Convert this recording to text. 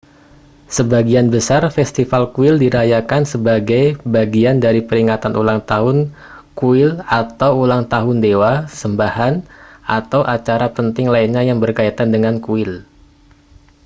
sebagian besar festival kuil dirayakan sebagai bagian dari peringatan ulang tahun kuil atau ulang tahun dewa sembahan atau acara penting lainnya yang berkaitan dengan kuil